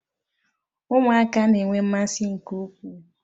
Ụmụaka na-enwe mmasị nke ukwuu